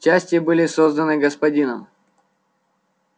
части были созданы господином